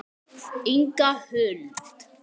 Þau ráku búð saman.